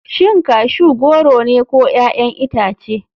Shin cashew goro ne ko 'ya'yan itace.